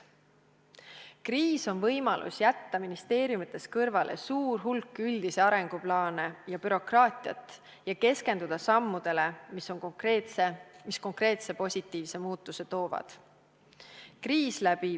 Kriis on võimalus jätta ministeeriumides kõrvale suur hulk üldisi arenguplaane ja bürokraatiat ning keskenduda sammudele, mis konkreetse positiivse muutuse toovad.